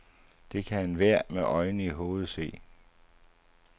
Det kan enhver med øjne i hovedet se.